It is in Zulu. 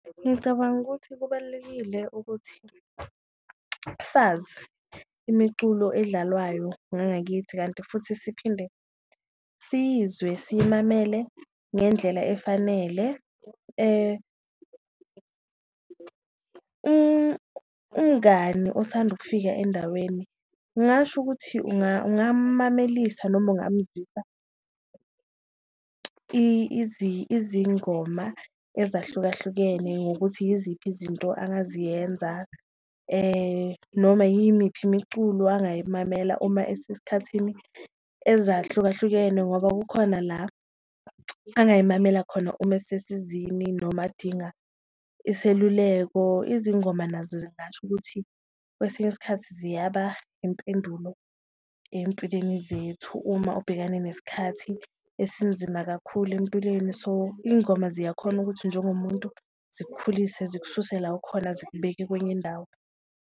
Ngicabanga ukuthi kubalulekile ukuthi sazi imiculo edlalwayo ngangakithi kanti futhi siphinde siyizwe siyimamele ngendlela efanele, umngani osanda ukufika endaweni ngasho ukuthi ungamamelisa noma ungamuzwisa izingoma ezahlukahlukene. Ngokuthi yiziphi izinto engaziyenza noma yimiphi imiculo angayimamela uma esesikhathini ezahlukahlukene ngoba kukhona la angayimamela khona uma esesizini, noma adinga iseluleko. Izingoma nazo ngingasho ukuthi kwesinye isikhathi ziyaba impendulo empilweni zethu uma ubhekane nesikhathi esinzima kakhulu empilweni, so ingoma ziyakhona ukuthi njengomuntu zikukhulise zikususe la okhona, zikubeke kwenye indawo.